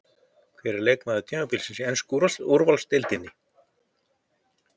Hver er leikmaður tímabilsins í ensku úrvalsdeildinni?